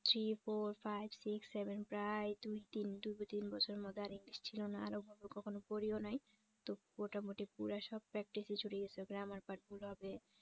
three four five six seven প্রায় দুই তিন দুই তিন বছরের মধ্যে আর english ছিল না আর ওভাবে কখন পড়িও নাই তো মোটামুটি পুরা সব practice ওই ছুটে গেছে grammar part ভুল হবে